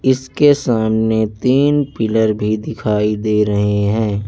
इसके सामने तीन पिलर भी दिखाई दे रहें हैं।